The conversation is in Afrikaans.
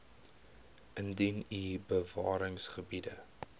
indien u bewaringsgebiede